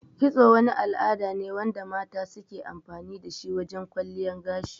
Kitso wani al'ada ne wanda mata suke amfani dashi wajan kwalliyan gashi